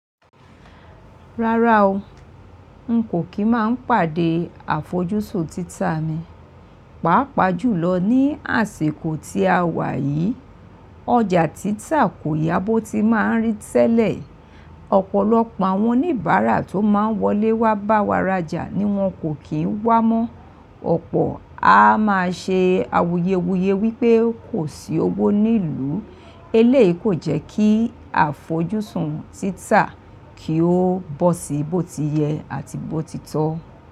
Rárá o, n kò kí máa pàdé àfojúsùn títà mi. Pàápàá jùlọ ní àsikó tí a wà yìí, ọjà títà kò yá bó ti máa ń rí tẹ́lẹ̀. Ọpọlọpọ àwọn oníbárà tó máa n wolé wá bá wà rájà ní wọ́n kò ki wá mọ. Ọ̀pọ̀ a máa ṣe awuyewuye wípé kò sí owó nílùú. Eléyìí kò jẹ́ kí àfojúsùn títà kì ó bọ́ sí bó ti yẹ àti bó ti tọ́.